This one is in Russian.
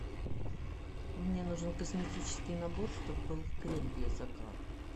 мне нужен косметический набор чтобы был крем для загара